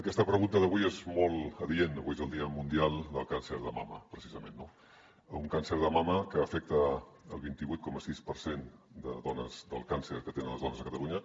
aquesta pregunta d’avui és molt adient avui és el dia mundial del càncer de mama precisament no un càncer de mama que afecta el vint vuit coma sis per cent dels càncers que tenen les dones a catalunya